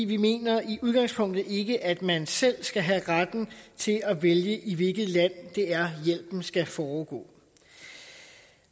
vi mener i udgangspunktet ikke at man selv skal have retten til at vælge i hvilket land hjælpen skal foregå